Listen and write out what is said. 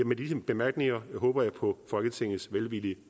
med disse bemærkninger håber jeg på folketingets velvillige